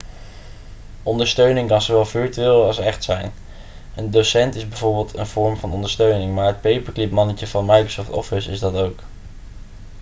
ondersteuning kan zowel virtueel als echt zijn een docent is bijvoorbeeld een vorm van ondersteuning maar het paperclipmannetje van microsoft office is dat ook